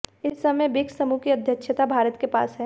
इस समय ब्रिक्स समूह की अध्यक्षता भारत के पास है